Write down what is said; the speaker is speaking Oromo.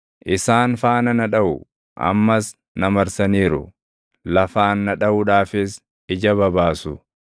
Isaan faana na dhaʼu; ammas na marsaniiru; lafaan na dhaʼuudhaafis ija babaasu.